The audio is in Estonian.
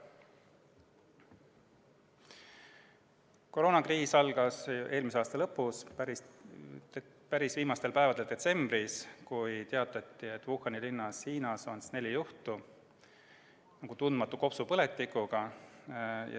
Koroonakriis algas eelmise aasta lõpus, päris viimastel päevadel detsembris, kui teatati, et Hiinas Wuhani linnas on neli juhtu tundmatu kopsupõletikuga.